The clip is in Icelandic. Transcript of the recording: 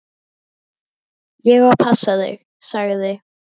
Ég á að passa þig, sagði